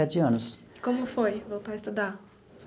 anos. Como foi voltar a estudar?